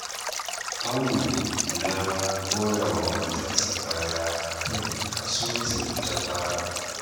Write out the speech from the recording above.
Audu ya goya wa matarsa baya a kan kasuwancin da ta fara